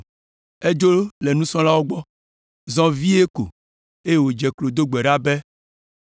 Edzo le nusrɔ̃lawo gbɔ, zɔ vie ko, eye wòdze klo do gbe ɖa be,